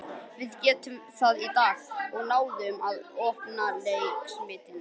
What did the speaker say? Við gerðum það í dag og náðum að opna Leiknismennina.